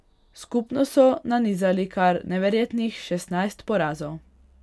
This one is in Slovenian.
Skupno so nanizali kar neverjetnih šestnajst porazov.